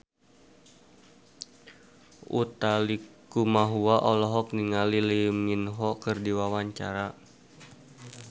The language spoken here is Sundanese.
Utha Likumahua olohok ningali Lee Min Ho keur diwawancara